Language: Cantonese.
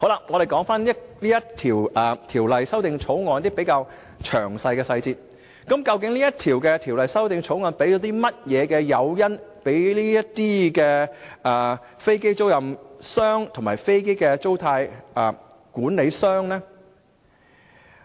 我們說回《條例草案》一些細節，究竟《條例草案》提供甚麼誘因予這些飛機出租商及飛機租賃管理商呢？